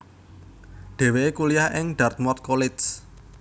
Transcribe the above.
Dhèwèké kuliah ing Dartmouth College